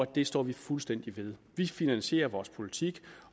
det står vi fuldstændig ved vi finansierer vores politik